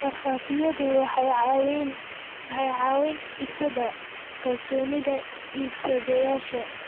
Markhaatiyadu waxay caawiyaan dhisidda kalsoonida iibsadayaasha.